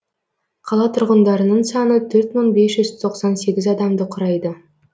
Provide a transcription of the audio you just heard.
қала тұрғындарының саны төрт мың бес жүз тоқсан сегіз адамды құрайды